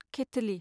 केथलि